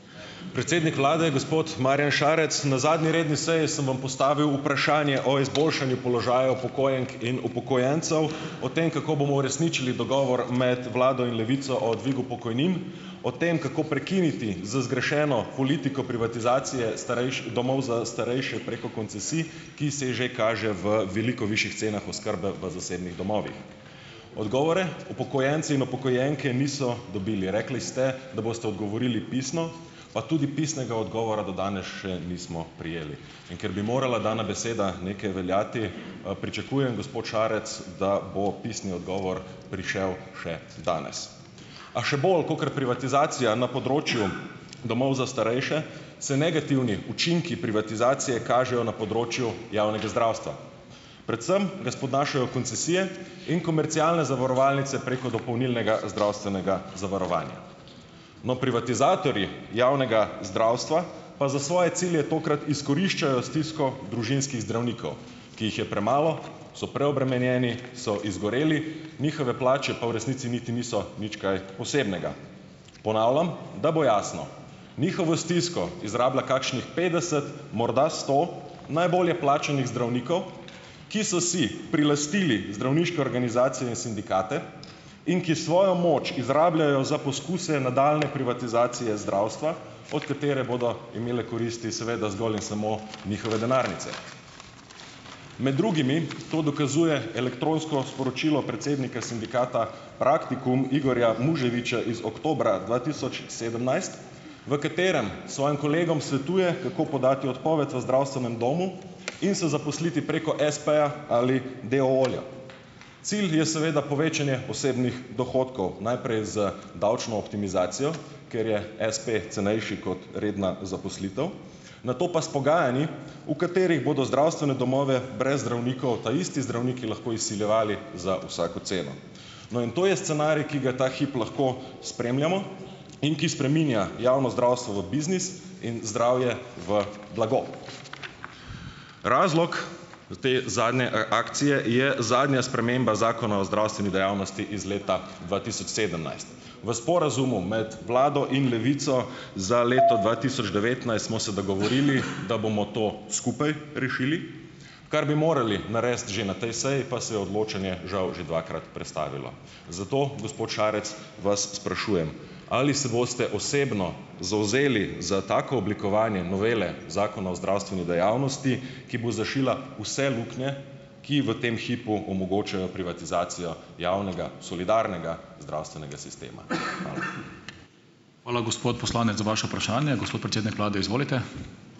Predsednik vlade, gospod Marjan Šarec! Na zadnji redni seji sem vam postavil vprašanje o izboljšanju položaja upokojenk in upokojencev, o tem, kako bomo uresničili dogovor med vlado in Levico o dvigu pokojnin, o tem, kako prekiniti z zgrešeno politiko privatizacije domov za starejše preko koncesij, ki se že kaže v veliko višjih cenah oskrbe v zasebnih domovih. Odgovore upokojenci in upokojenke niso dobili. Rekli ste, da boste odgovorili pisno, pa tudi pisnega odgovora do danes še nismo prejeli. In ker bi morala dana beseda nekaj veljati, pričakujem, gospod Šarec, da bo pisni odgovor prišel še danes. A še bolj kakor privatizacija na področju domov za starejše se negativni učinki privatizacije kažejo na področju javnega zdravstva, predvsem da spodnašajo koncesije in komercialne zavarovalnice preko dopolnilnega zdravstvenega zavarovanja. No, privatizatorji javnega zdravstva pa za svoje cilje tokrat izkoriščajo stisko družinskih zdravnikov, ki jih je premalo, so preobremenjeni, so izgoreli, njihove plače pa v resnici niti niso nič kaj posebnega. Ponavljam, da bo jasno, njihovo stisko izrablja kakšnih petdeset, morda sto najbolje plačanih zdravnikov, ki so si prilastili zdravniške organizacije in sindikate, in ki svojo moč izrabljajo za poskuse nadaljnje privatizacije zdravstva, od katere bodo imele koristi seveda zgolj in samo njihove denarnice. Med drugimi to dokazuje elektronsko sporočilo predsednika sindikata Praktikum, Igorja Muževiča iz oktobra dva tisoč sedemnajst, v katerem svojim kolegom svetuje, kako podati odpoved v zdravstvenem domu in se zaposliti preko espeja ali deooja. Cilj je seveda povečanje osebnih dohodkov, najprej z davčno optimizacijo, ker je espe cenejši kot redna zaposlitev, nato pa s pogajanji, v katerih bodo zdravstvene domove brez zdravnikov taisti zdravniki lahko izsiljevali za vsako ceno. No, in to je scenarij, ki ga ta hip lahko spremljamo, in ki spreminja javno zdravstvo v biznis in zdravje v blago. Razlog te zadnje, akcije je zadnja sprememba Zakona o zdravstveni dejavnosti iz leta dva tisoč sedemnajst. V sporazumu med vlado in Levico za leto dva tisoč devetnajst smo se dogovorili, da bomo to skupaj rešili, kar bi morali narediti že na tej seji, pa se je odločanje žal že dvakrat prestavilo. Zato, gospod šarec, vas sprašujem: Ali se boste osebno zavzeli za tako oblikovanje novele Zakona o zdravstveni dejavnosti, ki bo zašila vse luknje, ki v tem hipu omogočajo privatizacijo javnega, solidarnega zdravstvenega sistema. Hvala. Hvala, gospod poslanec za vaše vprašanje, gospod predsednik vlade izvolite ...